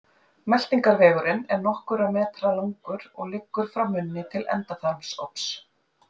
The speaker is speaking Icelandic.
Meltingarvegurinn er nokkurra metra langur og liggur frá munni til endaþarmsops.